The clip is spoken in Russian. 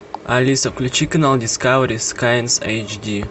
алиса включи канал дискавери скайнс эйч ди